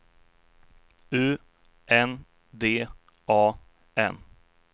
U N D A N